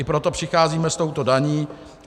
I proto přicházíme s touto daní.